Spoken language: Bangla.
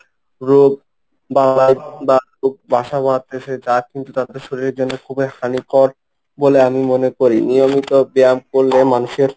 রোগ বাসা বানাতেছে, যা কিন্তু তাদের শরীরের জন্য খুবই হানিকর বলে আমি বলে আমি মনে করি। নিয়মিত ব্যায়াম করলে মানুষের